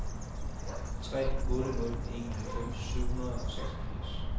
tre otte nul en halvfems syv hundrede og seksogfirs